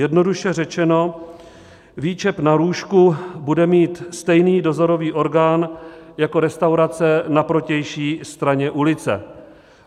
Jednoduše řečeno, výčep na růžku bude mít stejný dozorový orgán jako restaurace na protější straně ulice.